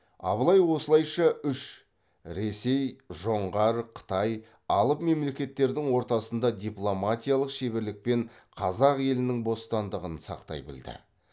абылай осылайша үш алып мемлекеттердің ортасында дипломатиялық шеберлікпен қазақ елінің бостандығын сақтай білді